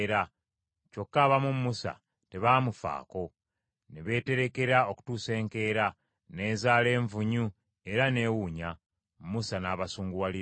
Kyokka abamu Musa tebaamufaako; ne beeterekerako okutuusa enkeera; n’ezaala envunyu, era n’ewunya. Musa n’abasunguwalira.